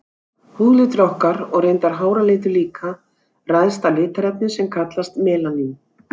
Húðlitur okkar, og reyndar háralitur líka, ræðst af litarefni sem kallast melanín.